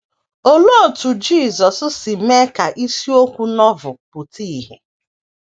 Olee otú Jisọs si mee ka isiokwu Novel pụta ìhè?